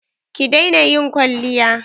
Ki daina ƴin kwalliya.